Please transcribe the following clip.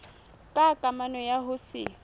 ka kamano ya ho se